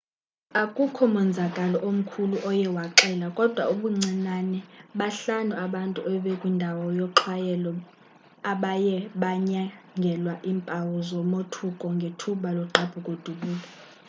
akukho monzakalo omkhulu oye waxelwa kodwa ubuncinane bahlanu abantu ebebekwindawo yexhwayelo abaye banyangelwa iimpawu zomothuko ngethuba logqabhuko dubulo